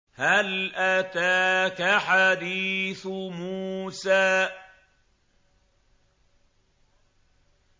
هَلْ أَتَاكَ حَدِيثُ مُوسَىٰ